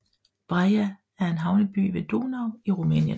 Brăila er en havneby ved Donau i Rumænien